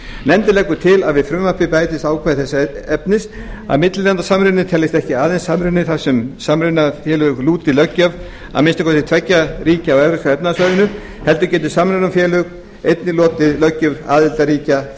nefndin leggur til að við frumvarpið bætist ákvæði þess efnis að millilandasamruni teljist ekki aðeins samruni þar sem samrunafélög lúti löggjöf að minnsta kosti tveggja ríkja á evrópska efnahagssvæðinu heldur geti samrunafélag einnig lotið löggjöf aðildarríkis